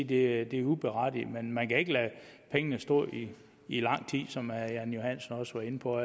det er uberettiget men man kan ikke lade pengene stå i lang tid som herre jan johansen også var inde på